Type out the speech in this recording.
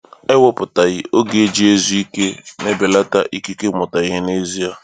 Ewepụtaghị oge iji zuo ike na-ebelata ikike ịmụta ihe n’ezie.